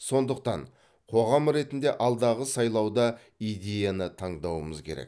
сондықтан қоғам ретінде алдағы сайлауда идеяны таңдауымыз керек